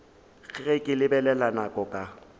ge ke lebelela nako ka